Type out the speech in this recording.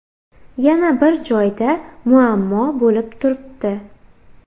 Yana bir joyda muammo bo‘lib turibdi.